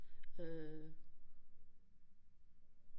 Øh